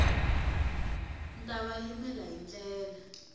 ta va yimela hi ndlela